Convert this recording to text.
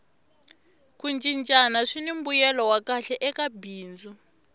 ku cincana swini mbuyelo wa kahle eka bindzu